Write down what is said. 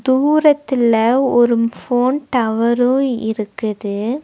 தூரத்துல ஒரும் ஃபோன் டவரும் இருக்குது.